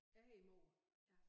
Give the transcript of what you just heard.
Jeg hedder mor ja